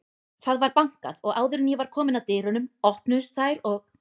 Það var bankað og áður en ég var komin að dyrunum, opnuðust þær og